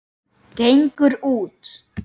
Gengur út.